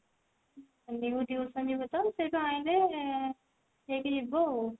tuition ଯିବ ତ ସେଉଠୁ ଆଇଁଲେ ସେଇଠି ଯିବ ଆଉ